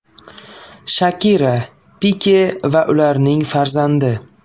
Shakira, Pike va ularning farzandi.